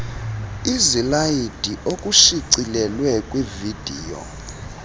izilayidi okushicilelwe kwividiyo